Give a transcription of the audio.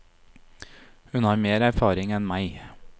Hun har mer erfaring enn meg.